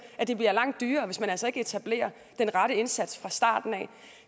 det bliver langt dyrere hvis man altså ikke etablerer den rette indsats fra starten